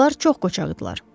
Onlar çox qocağırdılar.